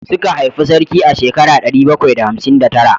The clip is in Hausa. Suka haifi sarki a shekara ɗari bakwai da hamsin da tara